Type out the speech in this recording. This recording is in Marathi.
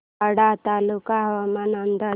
वाडा तालुका हवामान अंदाज